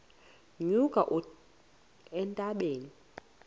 nyuka uye entabeni